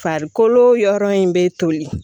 Farikolo yɔrɔ in bɛ toli